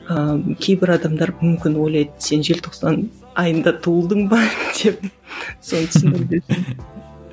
ыыы кейбір адамдар мүмкін ойлайды сен желтоқсан айында туылдың ба деп соны түсіндіріп өтсең